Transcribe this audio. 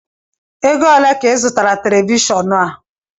Égo olé ka I zụrụ Televishọọnu a?